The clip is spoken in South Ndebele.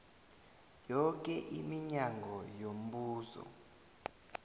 yoke iminyango yombuso